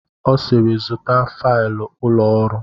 Ọ sịịrị, zụta failụ ụlọ ọrụ!